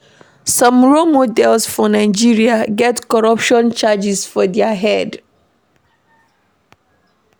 Some role models for Nigeria get corruption charges for their head